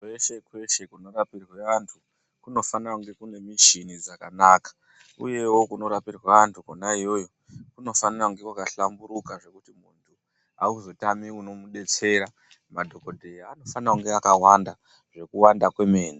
Kweshe kweshe kunorapirwa antu kunofanire kunge kune michini dzakanaka uyewo kunorapirwa antu kwona iyoyo kunofanire kunge kwakahlamburuka zvekuti auzotami unomubetsera madhokodheya anofana kunge akawanda zvekuwanda kwemene.